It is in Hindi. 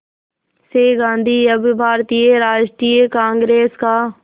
से गांधी अब भारतीय राष्ट्रीय कांग्रेस का